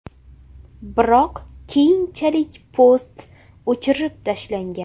Biroq keyinchalik post o‘chirib tashlangan.